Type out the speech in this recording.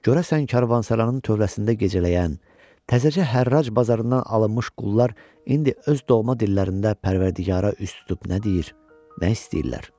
Görəsən karvansaranın tövərsində gecələyən, təzəcə hərraj bazarından alınmış qullar indi öz doğma dillərində Pərvərdigara üz tutub nə deyir, nə istəyirlər?